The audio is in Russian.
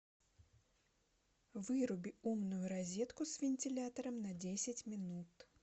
выруби умную розетку с вентилятором на десять минут